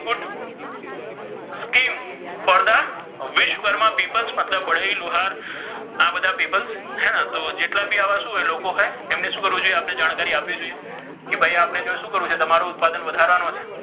for the Vishwakarma people મતલબ બઢાઇ લુહાર આ બધા people હે ને તો જેટલા ભી આવા શુ હોય લોકો હોય તેમને શુ કરવુ જોઇઍ આ બધી જાણ્કારી આપવી જોઇઍ કે ભાઇ આપને શુ કરવુ જોઇએ તમારુ ઉત્પાદન વધારવાનુ છે.